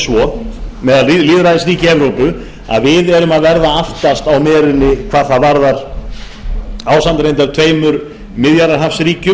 svo meðal lýðræðisríkja í evrópu að ísland auk noregs er að verða aftast á merinni hvað þetta varðar ásamt tveimur miðjarðarhafsríkjum